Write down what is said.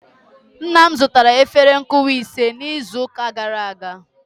nna m zụtara efere nkụwa ise n'izu ụka gara aga